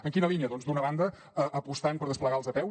en quina línia doncs d’una banda apostant per desplegar les apeu